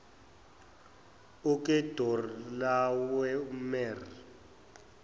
ukedorlawomere